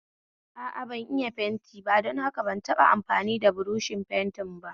A a, ban iya yin fenti don haka taba amfani da buroshin fenti ba